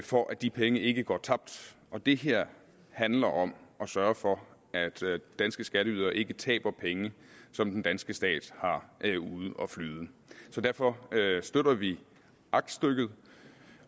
for at de penge ikke skal gå tabt det her handler om at sørge for at danske skatteydere ikke taber penge som den danske stat har ude at flyde derfor støtter vi aktstykket